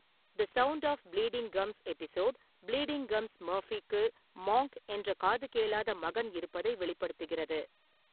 The sound of bleeding gums' episode, bleeding gums மர்ஃபிக்கு Monk என்ற காதுகேளாத மகன் இருப்பதை வெளிப்படுத்துகிறது.